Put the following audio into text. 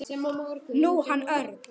Nú, hann Örn.